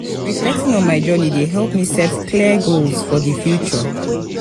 reflecting on my journey dey help me set clear goals for the future.